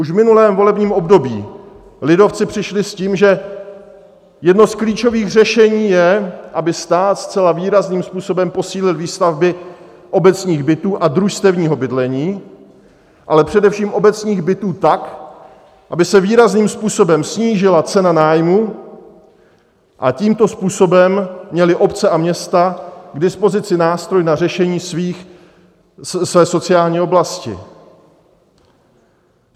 Už v minulém volebním období lidovci přišli s tím, že jedno z klíčových řešení je, aby stát zcela výrazným způsobem posílil výstavby obecních bytů a družstevního bydlení, ale především obecních bytů tak, aby se výrazným způsobem snížila cena nájmů, a tímto způsobem měly obce a města k dispozici nástroj na řešení své sociální oblasti.